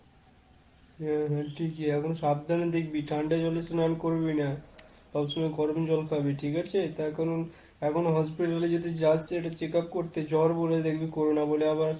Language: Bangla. হ্যাঁ হ্যাঁ ঠিকই, এখন সাবধানে দেখবি। ঠান্ডা জলে স্নান করবি না। সব সময় গরম জল খাবি। ঠিক আছে? তার কারণ, এখন hospital যদি যাস একটা check up করতে জ্বর বলে, দেখবি corona বলে আবার,